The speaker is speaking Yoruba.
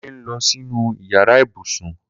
Kunle n lọ sinú iyàrá ibúsún